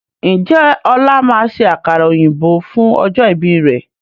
Ǹjẹ́ ọ̀la máa ṣe àkàrà òyìnbó fún ọjọ́ ìbí rẹ̀?